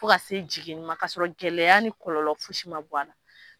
Fo ka se jiginni ma ka sɔrɔ gɛlɛya ni kɔlɔlɔ fosi ma bɔ a la.